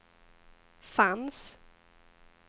fanns